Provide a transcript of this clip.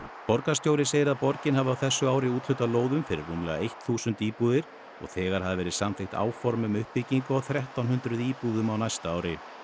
borgarstjóri segir að borgin hafi á þessu ári úthlutað lóðum fyrir rúmlega eitt þúsund íbúðir og þegar hafi verið samþykkt áform um uppbyggingu á þrettán hundruð íbúðum á næsta ári